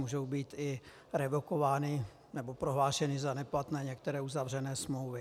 Můžou být i revokovány nebo prohlášeny za neplatné některé uzavřené smlouvy.